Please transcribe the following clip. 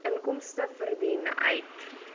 inkomste verdien uit